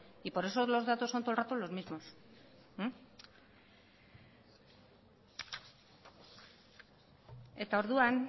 y por eso los datos son todo el rato los mismos eta orduan